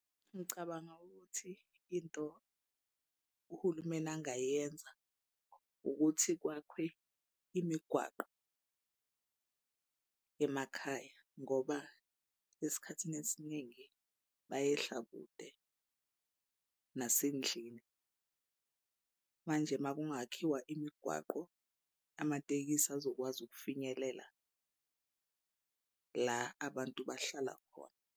Ngicabanga ukuthi into uhulumeni angayenza ukuthi kwakhwe imigwaqo emakhaya ngoba esikhathini esiningi bayehla kude nasendlini. Manje uma kungakhishwa imigwaqo amatekisi azokwazi ukufinyelela la abantu bahlala khona.